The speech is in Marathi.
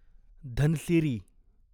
धनसिरी